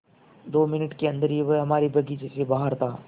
दो मिनट के अन्दर ही वह हमारे बगीचे से बाहर था